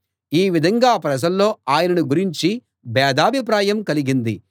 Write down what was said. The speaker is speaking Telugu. ఈ విధంగా ప్రజల్లో ఆయనను గురించి భేదాభిప్రాయం కలిగింది